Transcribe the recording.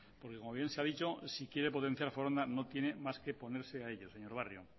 porque como bien se ha dicho si quiere potenciar foronda no tiene más que ponerse a ello señor barrio